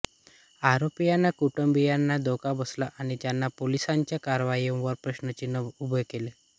आरोपींच्या कुटुंबीयांना धक्का बसला आणि त्यांनी पोलिसांच्या कारवायांवर प्रश्नचिन्ह उभे केले